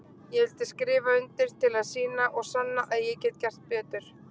Ég vildi skrifa undir til að sýna og sanna að ég get gert betur.